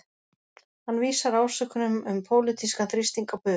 Hann vísar ásökunum um pólitískan þrýsting á bug